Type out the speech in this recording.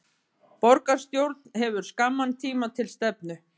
Borgarstjórn hefur skamman tíma til stefnu